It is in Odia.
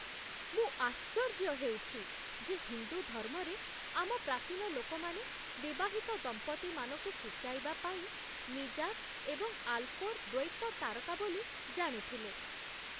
ମୁଁ ଆଶ୍ଚର୍ଯ୍ୟ ହେଉଛି ଯେ ହିନ୍ଦୁ ଧର୍ମରେ ଆମ ପ୍ରାଚୀନ ଲୋକମାନେ ବିବାହିତ ଦମ୍ପତିମାନଙ୍କୁ ସୂଚାଇବା ପାଇଁ ମିଜାର୍ ଏବଂ ଆଲ୍କୋର୍ ଦ୍ୱୈତ ତାରକା ବୋଲି ଜାଣିଥିଲେ।